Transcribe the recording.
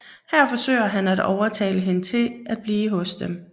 Her forsøger han at overtale hende til at blive hos dem